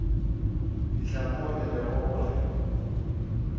fihla moo e lego gore